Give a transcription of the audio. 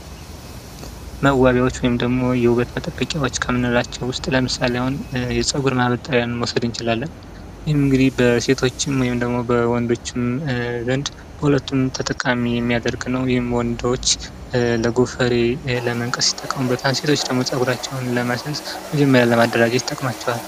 መዋቢያዋች ወይም ደሞ የውበት መጠበቂያዋች ከምንላቻ ውስጥ ለምሳሌ፤ አሁን የጸጉር ማበጠሪያ መውስድ እንችላለን ።ይህም እንግዲህ በሴቶችም ወይም ደሞ በወንዶችም ዘንድ በሁለቱም ተጠቃሚ የሚያደርግ ነው። ይህም ወንዶች ለ ጎፈሬ ለመንቀስ ይጠቀሙበታል። ሴቶች ደሞ ጸጉራቸውን ለማሲያዝ መጀመሪያ ለማደራጀት ይጠቅማቸዋል።